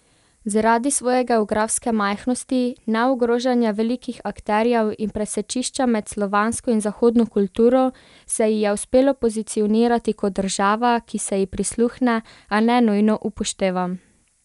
Zaradi svoje geografske majhnosti, neogrožanja velikih akterjev in presečišča med slovansko in zahodno kulturo se ji je uspelo pozicionirati kot država, ki se ji prisluhne, a ne nujno upošteva.